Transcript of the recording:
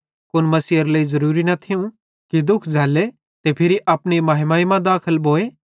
कुन मसीहेरे लेइ ज़रुरी न थियूं कि दुःख झ़ल्ल्ले ते फिरी अपनी महिमा मां दाखल भोए